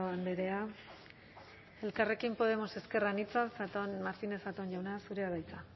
andrea elkarrekin podemos ezker anitza martínez zatón jauna zurea da hitza